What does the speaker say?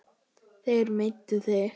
Þeir meiddu þig.